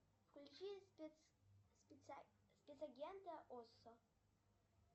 включи спецагента осо